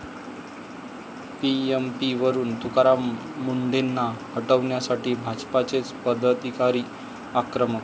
पीएमपी'वरून तुकाराम मुंढेंना हटवण्यासाठी भाजपचेच पदाधिकारी आक्रमक!